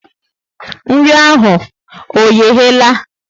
Nri ahụ ọ yehe la?